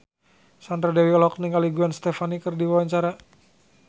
Sandra Dewi olohok ningali Gwen Stefani keur diwawancara